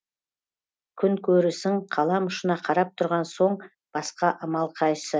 күн көрісің қалам ұшына қарап тұрған соң басқа амал қайсы